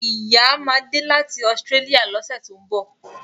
Ìyá ma de láti Australia lọ́sẹ̀ tó ń bọ̀